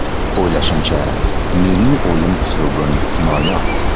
O‘ylashimcha, mening o‘yin uslubim noyob.